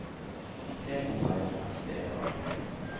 T O R S D A G